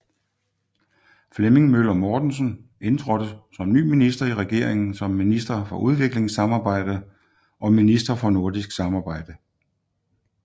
Flemming Møller Mortensen indtrådte som ny minister i regeringen som minister for udviklingssamarbejde og minister for nordisk samarbejde